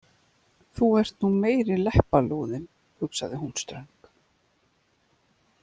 Þú ert nú meiri leppalúðinn, hugsaði hún ströng.